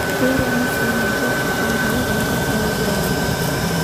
keiremi sininche ill`chambai lenkittoduaroto